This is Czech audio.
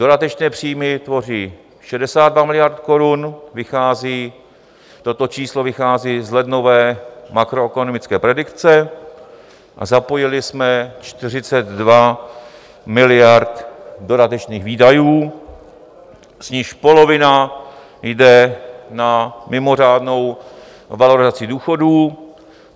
Dodatečné příjmy tvoří 62 miliard korun, toto číslo vychází z lednové makroekonomické predikce, a zapojili jsme 42 miliard dodatečných výdajů, z nichž polovina jde na mimořádnou valorizaci důchodů.